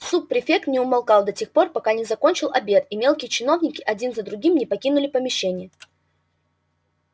суб-префект не умолкал до тех пор пока не закончил обед и мелкие чиновники один за другим не покинули помещение